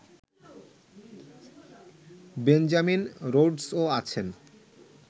Benjamin রোডসও আছেন